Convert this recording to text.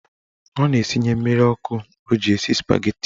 Ọ na-esinye mmiri ọkụ o ji esi spageti.